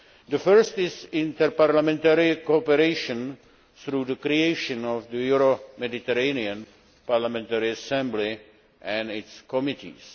The first is interparliamentary cooperation through the creation of the Euro Mediterranean Parliamentary Assembly and its committees.